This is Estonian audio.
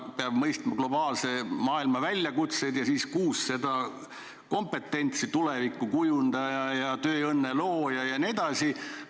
Peab mõistma globaalse maailma väljakutseid ja üldse on kokku kuus kompetentsi: tuleviku kujundaja ja tööõnne looja ja nii edasi.